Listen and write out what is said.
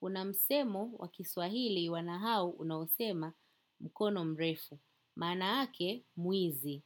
Una msemo wa kiswahili wa nahau unaousema mkono mrefu. Manaake, mwizi.